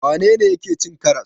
Wane ne yake cin karas?